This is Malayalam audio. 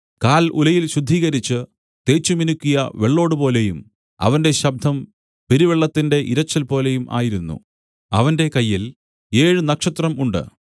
കാൽ ഉലയിൽ ശുദ്ധീകരിച്ച് തേച്ചുമിനുക്കിയ വെള്ളോടുപോലെയും അവന്റെ ശബ്ദം പെരുവെള്ളത്തിന്റെ ഇരച്ചിൽപോലെയും ആയിരുന്നു അവന്റെ വലങ്കയ്യിൽ ഏഴ് നക്ഷത്രം ഉണ്ട്